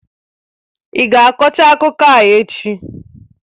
Ị ga-akọcha akụkọ a echi?